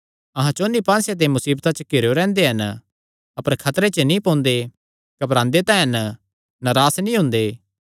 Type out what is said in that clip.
अहां चौंन्नी पास्सेयां ते मुसीबतां च घिरेयो रैंह्दे हन अपर खतरे च नीं पोंदे घबरांदे तां हन नरास नीं हुंदे